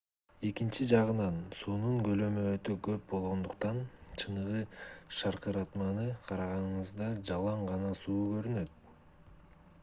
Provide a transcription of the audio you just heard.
экинчи жагынан суунун көлөмү өтө көп болгондуктан чыныгы шаркыратманы караганыңызда жалаң гана суу көрүнөт